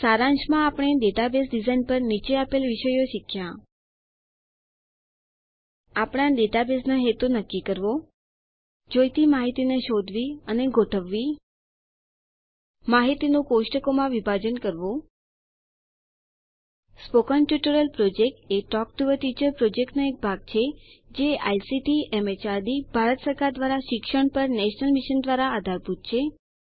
સારાંશમાં આપણે database design પર નીચે આપેલ વિષયો શીખ્યાં આપણા ડેટાબેઝનો હેતુ નક્કી કરવો જોઈતી માહિતીને શોધવી અને ગોઠવવી માહિતીનું કોષ્ટકોમાં વિભાજન કરવું spoken tutorial project talk to a teacher પ્રોજેક્ટનો એક ભાગ છે જે આઇસીટી એમએચઆરડી ભારત સરકાર દ્વારા શિક્ષણ પર નેશનલ મિશન દ્વારા આધારભૂત છે